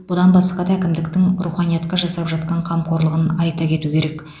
бұдан басқа да әкімдіктің руханиятқа жасап жатқан қамқорлығын айта кету керек